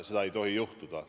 Seda ei tohi juhtuda.